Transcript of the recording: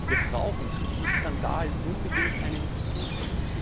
Wir brauchen zu diesem Skandal unbedingt eine Untersuchung.